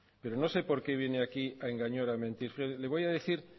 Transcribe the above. pero no sé por qué viene aquí a engañar o a mentir mire le voy a decir